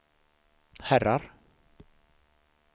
herrar